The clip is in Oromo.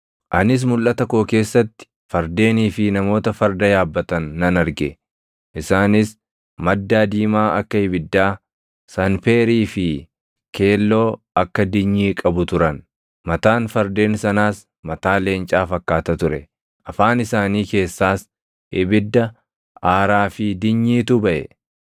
Anis mulʼata koo keessatti fardeenii fi namoota farda yaabbatan nan arge: Isaanis maddaa diimaa akka ibiddaa, sanpeerii + 9:17 Sanpeerii – Sanpeeriin dhagaa gatii guddaa gurraacha akka cuquliisaa ti. fi keelloo akka dinyii + 9:17 dinyii – dinyiin kemikaala keelloo fakkaatu kan hoʼa guddaadhaan gubamuu fi kan foolii namatti hin tolle qabuu dha. qabu turan. Mataan fardeen sanaas mataa leencaa fakkaata ture; afaan isaanii keessaas ibidda, aaraa fi dinyiitu baʼe.